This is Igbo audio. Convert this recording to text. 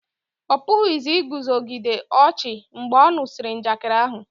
ọ pụghị iguzogide ọchị mgbe ọ nụsịrị njakịrị ahu